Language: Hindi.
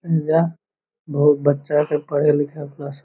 या बहुत बच्चा से पढ़े लिखे है प्लस --